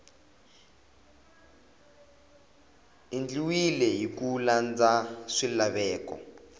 endliwile hi ku landza swilaveko